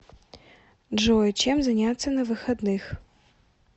джой чем заняться на выходных